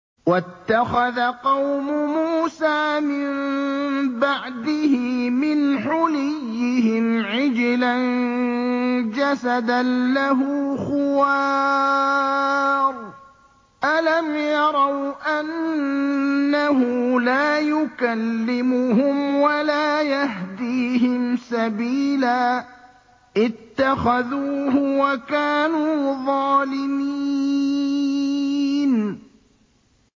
وَاتَّخَذَ قَوْمُ مُوسَىٰ مِن بَعْدِهِ مِنْ حُلِيِّهِمْ عِجْلًا جَسَدًا لَّهُ خُوَارٌ ۚ أَلَمْ يَرَوْا أَنَّهُ لَا يُكَلِّمُهُمْ وَلَا يَهْدِيهِمْ سَبِيلًا ۘ اتَّخَذُوهُ وَكَانُوا ظَالِمِينَ